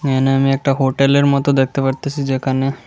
এখানে আমি একটা হোটেলের মতো দেখতে পারতাছি যেখানে--